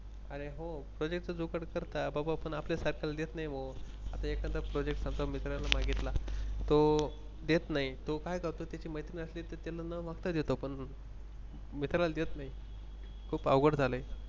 अरे हो Project च जुगाड करतात बाबा. पण आपल्या सारख्याला देत नाही बुवा आता एखादा Project आता मित्राला मागितला तो देत नाही तो काय करतो त्याची मैत्रीण असली तर त्यांना न मागता देतो पण मित्राला देत नाही. खूप अवघड झाल